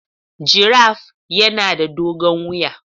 Giraffe yana da dogon wuya